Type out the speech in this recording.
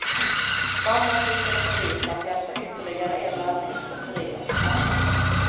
Mamma susade förbi för att hämta ytterligare en laddning specerier på trappan.